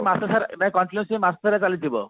ମସା ସାରା continuously ମାସ ସାରା ଚାଲିଥିବ